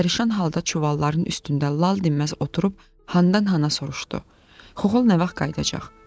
Pərişan halda çuvalların üstündə lal dinməz oturub, xandan xana soruşdu: “Xoxol nə vaxt qayıdacaq?”